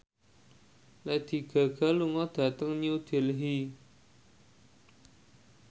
Lady Gaga lunga dhateng New Delhi